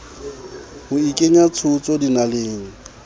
o ikenya tshotso dinaleng o